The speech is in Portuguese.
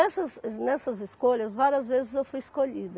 nessas escolhas, várias vezes eu fui escolhida.